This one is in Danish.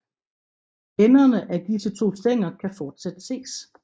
Enderne af disse to stænger kan fortsat ses